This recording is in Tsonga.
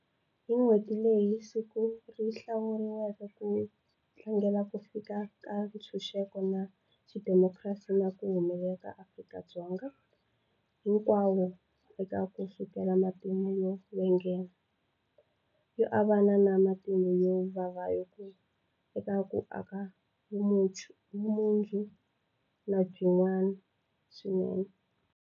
Hi n'hweti leyi, siku ri hlawuriwile ku tlangela ku fika ka ntshuxeko na xidemokirasi na ku humelela ka MaAfrika-Dzonga hinkwawo eka ku sukela matimu yo vengana, yo avana na matimu yo vava ku ya eka ku aka vumundzuku lebyin'wana swinene.